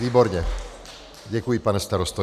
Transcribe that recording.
Výborně, děkuji, pane starosto.